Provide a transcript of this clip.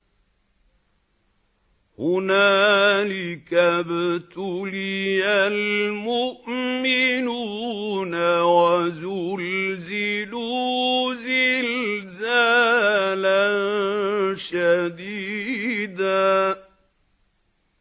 هُنَالِكَ ابْتُلِيَ الْمُؤْمِنُونَ وَزُلْزِلُوا زِلْزَالًا شَدِيدًا